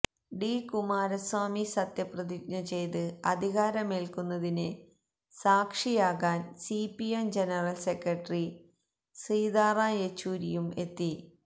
D Kumaraswamy സത്യപ്രതിജ്ഞ ചെയ്ത് അധികാരമേല്ക്കുന്നതിന് സാക്ഷിയാകാന് സിപിഎം ജനറല് സെക്രട്ടറി സീതാറാം യെച്ചൂരിയും എത്തും